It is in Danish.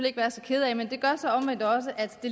ikke være så kede af men det gør så omvendt også at